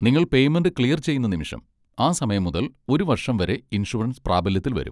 നിങ്ങൾ payment clear ചെയ്യുന്ന നിമിഷം, ആ സമയം മുതൽ ഒരു വർഷം വരെ ഇൻഷുറൻസ് പ്രാബല്യത്തിൽ വരും.